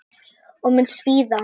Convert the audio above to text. Og mun svíða.